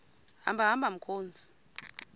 hamba hamba mkhozi